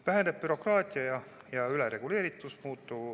Väheneb bürokraatia ja ülereguleeritus.